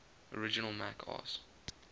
original mac os